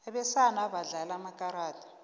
abesana badlala amakarada